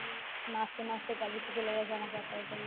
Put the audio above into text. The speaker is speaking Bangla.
নাচতে নাচতেকালিপুর চলে যেত আমাকে এক পয়সা নিয়ে